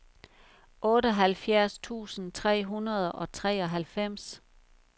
otteoghalvfjerds tusind tre hundrede og treoghalvfems